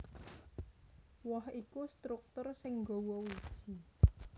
Woh iku struktur sing nggawa wiji